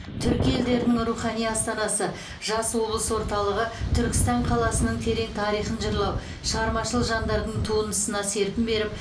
түркі елдерінің рухани астанасы жас облыс орталығы түркістан қаласының терең тарихын жырлау шығармашыл жандардың туындысына серпін беріп